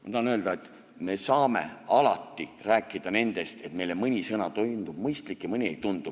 Ma tahan öelda, et me saame alati rääkida sellest, et meile mõni sõna tundub mõistlik ja mõni ei tundu.